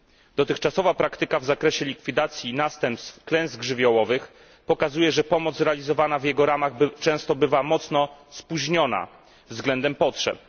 Dotychczasowa praktyka w zakresie likwidacji następstw klęsk żywiołowych pokazuje, że pomoc realizowana w jego ramach często bywa mocno spóźniona względem potrzeb.